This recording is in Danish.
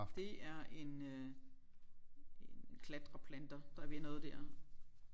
Det er en øh en klatreplanter der vil noget der